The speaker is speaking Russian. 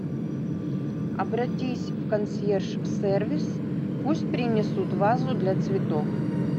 обратись в консьерж сервис пусть принесут вазу для цветов